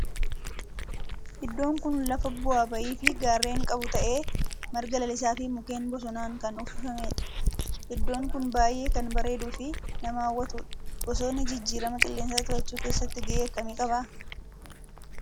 Iddoon kun lafa bu'aa ba'ii fi gaarreen qabu ta'ee marga lalisaa fi mukkeen bosonaan kan uwwifamedha. Iddoon kun baayyee kan bareeduu fi nama hawwatudha. Bosonni jijjiirama qilleensaa to'achuu keessatti gahee akkamii qaba?